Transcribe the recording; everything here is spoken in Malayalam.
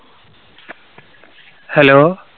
Hello